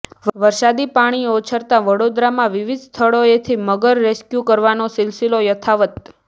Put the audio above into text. વરસાદી પાણી ઓસરતાં વડોદરામાં વિવિધ સ્થળોએથી મગર રેસ્ક્યૂ કરવાનો સિલસિલો યથાવત